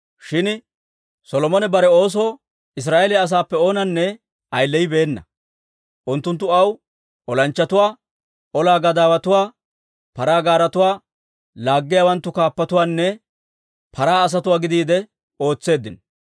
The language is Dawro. Shin Solomone bare oosoo Israa'eeliyaa asaappe oonanne ayileyibeena; unttunttu aw olanchchatuwaa, ola gadaawotuwaa, paraa gaaretuwaa laaggiyaawanttu kaappatuwaanne paraa asatuwaa gidiide ootseeddino.